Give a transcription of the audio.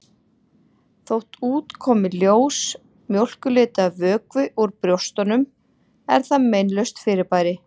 Þótt út komi ljós mjólkurlitaður vökvi úr brjóstunum er það meinlaust fyrirbæri.